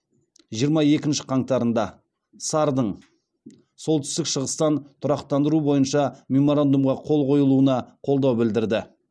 жиырма екінші қаңтарында сар дың солтүстік шығыстан тұрақтандыру бойынша меморандумға қол қойылуына қолдау білдірді